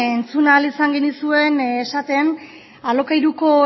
entzun ahal izan genizuen esaten alokairuko